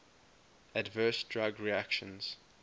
adverse drug reactions